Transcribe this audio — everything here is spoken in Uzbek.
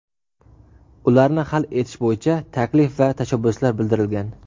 ularni hal etish bo‘yicha taklif va tashabbuslar bildirilgan.